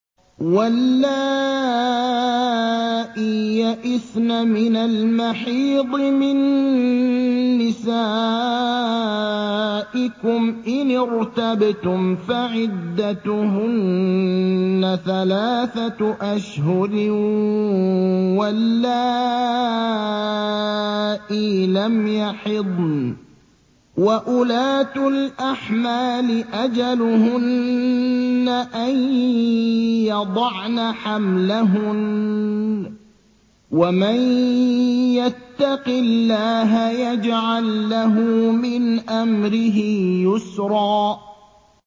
وَاللَّائِي يَئِسْنَ مِنَ الْمَحِيضِ مِن نِّسَائِكُمْ إِنِ ارْتَبْتُمْ فَعِدَّتُهُنَّ ثَلَاثَةُ أَشْهُرٍ وَاللَّائِي لَمْ يَحِضْنَ ۚ وَأُولَاتُ الْأَحْمَالِ أَجَلُهُنَّ أَن يَضَعْنَ حَمْلَهُنَّ ۚ وَمَن يَتَّقِ اللَّهَ يَجْعَل لَّهُ مِنْ أَمْرِهِ يُسْرًا